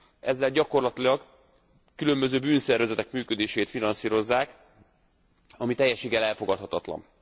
Ezzel gyakorlatilag különböző bűnszervezetek működését finanszírozzák, ami teljességgel elfogadhatatlan.